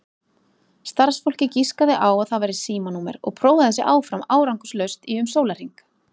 Starfsfólkið giskaði á að það væri símanúmer og prófaði sig áfram árangurslaust í um sólarhring.